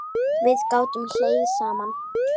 Við gátum hlegið saman.